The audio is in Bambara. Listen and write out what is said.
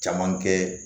Caman kɛ